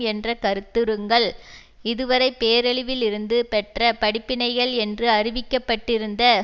என்ற கருத்துருங்கள் இதுவரை பேரழிவில் இருந்து பெற்ற படிப்பினைகள் என்று அறிவிக்க பட்டிருந்த